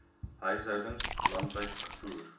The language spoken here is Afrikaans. huishoudings landwyd gevoer